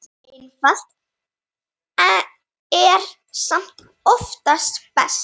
Einfalt er samt oftast best.